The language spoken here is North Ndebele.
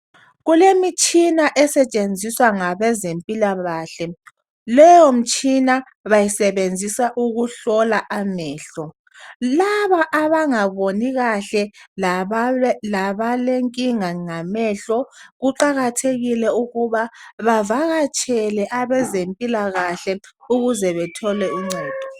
Kulemitshina esetshenziswa ngabezempilakahle. Leyo mitshina basebenzisa ukuhlola amehlo. Laba abangaboni kahle, labalenkinga ngamehlo, kuqakathekile ukuba bavakatshele abezempilakahle ukuze bethole uncedo.